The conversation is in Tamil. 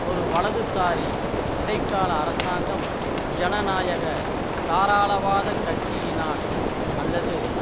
ஒரு வலதுசாரி இடைக்கால அரசாங்கம் ஜனநாயக தாராளவாதக்கட்சியினால் அல்லது